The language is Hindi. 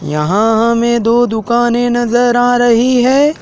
यहां हमें दो दुकानें नजर आ रही है।